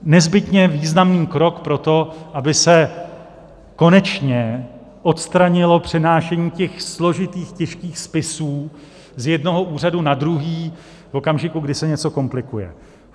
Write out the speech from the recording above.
Nezbytně významný krok pro to, aby se konečně odstranilo přenášení těch složitých těžkých spisů z jednoho úřadu na druhý v okamžiku, kdy se něco komplikuje.